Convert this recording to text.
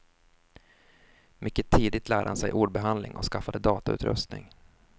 Mycket tidigt lärde han sig ordbehandling och skaffade datautrustning.